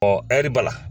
ɛri bala